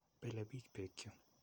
Pele piich peek chu.